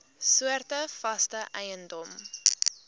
soorte vaste eiendom